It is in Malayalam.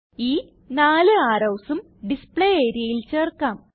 ഈ നാല് arrowsഉം ഡിസ്പ്ലേ areaയിൽ ചേർക്കാം